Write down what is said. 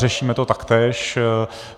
Řešíme to taktéž.